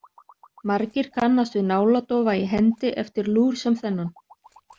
Margir kannast við náladofa í hendi eftir lúr sem þennan.